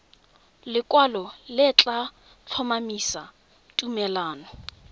lekwalo le tla tlhomamisa tumalano